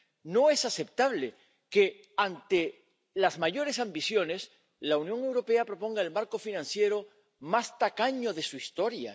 No es aceptable que, ante las mayores ambiciones, la Unión Europea proponga el marco financiero más tacaño de su historia.